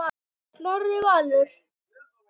Snorri Valur.